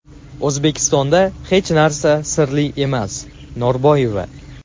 O‘zbekistonda hech narsa sirli emas – Norboyeva.